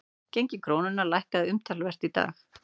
Gengi krónunnar lækkaði umtalsvert í dag